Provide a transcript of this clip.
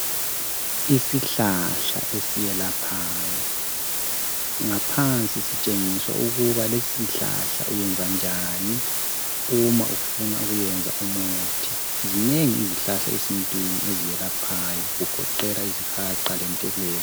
Isihlahla esiyelaphayo ngaphansi sitshengisa ukuba lesisihlahla uyenza njani uma ufuna ukuyenza umuthi zinengi izihlahla esintwini eziyelaphayo kugoqela izihaqa lentelezi